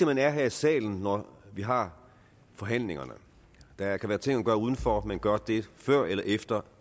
man er her i salen når vi har forhandlingerne der kan være ting at gøre udenfor men gør det før eller efter